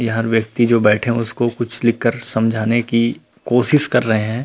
यहाँ व्यक्ति जो बैठे है उसको कुछ लिख कर समझाने की कोशीश कर रहे है।